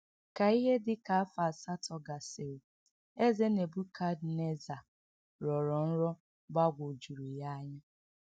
Ka ihe dị ka afọ asatọ gasịrị, Eze Nebukadneza rọrọ nrọ gbagwojuru ya anya.